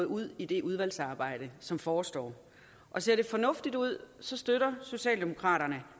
ud i det udvalgsarbejde som forestår og ser det fornuftigt ud støtter socialdemokraterne